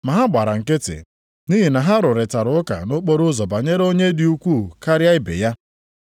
Ma ha gbara nkịtị, nʼihi na ha rụrịtara ụka nʼokporoụzọ banyere onye dị ukwuu karịa ibe ya.